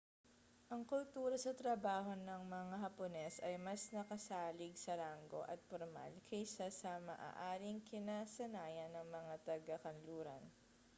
ang kultura sa trabaho ng mga hapones ay mas nakasalig sa ranggo at pormal kaysa sa maaaring kinasanayan ng mga taga-kanluran